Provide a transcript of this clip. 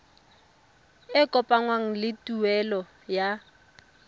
e kopanngwang le tuelo ya